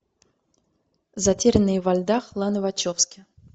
затерянные во льдах ланы вачовски